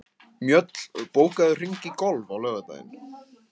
Mjöll, bókaðu hring í golf á laugardaginn.